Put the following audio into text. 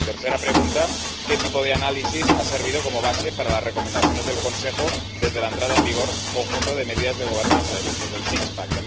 Tercera pregunta qué tipo de análisis ha servido como base para las recomendaciones del Consejo desde la entrada en vigor del conjunto de medidas de gobernanza, es decir, del Six pack